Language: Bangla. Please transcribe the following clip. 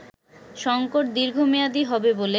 “সংকট দীর্ঘমেয়াদী হবে বলে